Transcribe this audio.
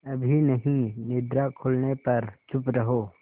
अभी नहीं निद्रा खुलने पर चुप रहो